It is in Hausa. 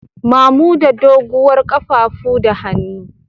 Mamuda doguwar kafafu da hannu.